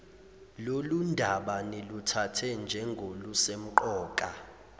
lolundaba niluthathe njengolusemqoka